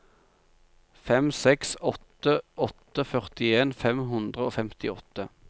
fem seks åtte åtte førtien fem hundre og femtiåtte